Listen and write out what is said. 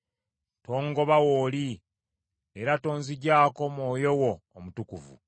Tongoba w’oli, era tonzigyako Mwoyo wo Omutukuvu.